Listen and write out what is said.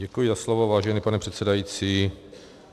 Děkuji za slovo, vážený pane předsedající.